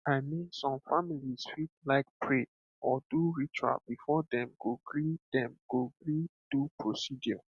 i mean some families fit like pray or do ritual before dem go gree dem go gree do procedure